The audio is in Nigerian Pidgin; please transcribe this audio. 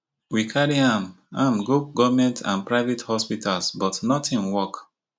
we carry am am go goment and private hospitals but notin work